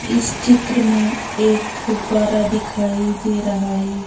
इस चित्र में एक फुववारा दिखाई दे रहा है।